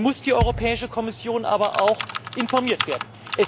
Dann muss die Europäische Kommission aber auch informiert werden.